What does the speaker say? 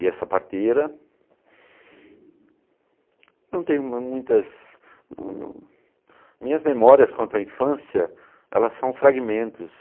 E essa parteira, não tenho muitas... Minhas memórias quanto à infância, elas são fragmentos.